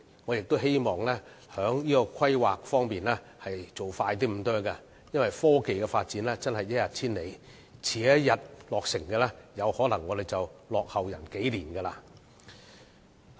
我希望在規劃上可以做得快一點，因為科技發展真是一日千里，遲一天落成，我們便可能會落後別人數年。